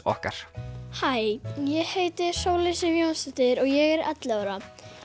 okkar hæ ég heiti Sóley Sif Jónsdóttir og ég er ellefu ára